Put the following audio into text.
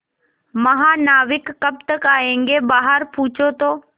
महानाविक कब तक आयेंगे बाहर पूछो तो